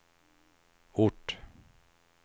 ort